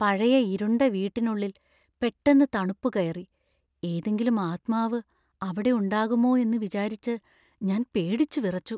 പഴയ ഇരുണ്ട വീട്ടിനുള്ളിൽ പെട്ടെന്ന് തണുപ്പ് കയറി , ഏതെങ്കിലും ആത്മാവ് അവിടെ ഉണ്ടാകുമോയെന്നു വിചാരിച്ച് ഞാൻ പേടിച്ചുവിറച്ചു.